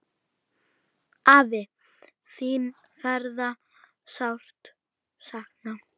Afi, þín verður sárt saknað.